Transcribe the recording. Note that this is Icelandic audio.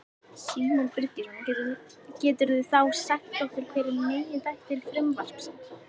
Símon Birgisson: Geturðu þá sagt okkur hver eru meginþættir frumvarpsins?